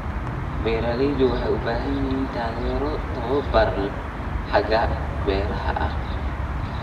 Beeraleydu waxay u baahan yihiin taageero tababar xagga beeraha ah.